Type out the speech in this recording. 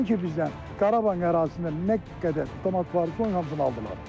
Nəinki bizdən, Qarabağın ərazisində nə qədər avtomat var idi, onların hamısını aldılar.